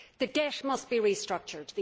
The debt must be restructured.